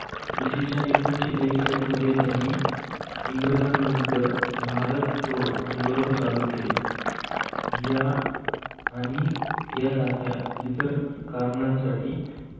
इसवी एकोणविससेबेचाळीस मध्ये त्यांनी इंग्रजांविरुद्ध भारत छोडो आंदोलन चालू केले या आणि यासारख्या इतर कारणांसाठी